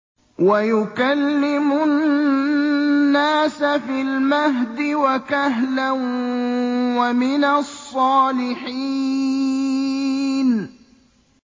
وَيُكَلِّمُ النَّاسَ فِي الْمَهْدِ وَكَهْلًا وَمِنَ الصَّالِحِينَ